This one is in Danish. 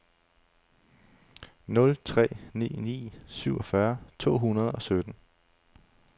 nul tre ni ni syvogfyrre to hundrede og sytten